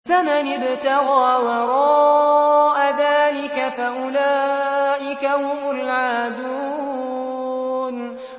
فَمَنِ ابْتَغَىٰ وَرَاءَ ذَٰلِكَ فَأُولَٰئِكَ هُمُ الْعَادُونَ